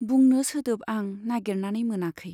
बुंनो सोदोब आं नागेरनानै मोनाखै।